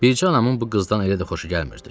Bircə anamın bu qızdan elə də xoşu gəlmirdi.